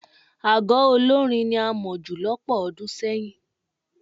Aago olórín ni a mọ̀ jù lọ́pọ̀ ọdún sẹ́yìn.